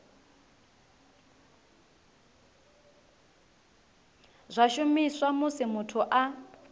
zwa shumiswa musi muthu a